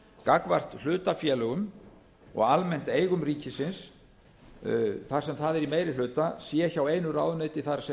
gagnvart hlutafélögum og almennt eigum ríkisins þar sem það er í meiri hluta sé hjá einu ráðuneyti það er